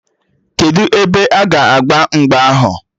Kedụ ebe a ga agba mgba ahụ?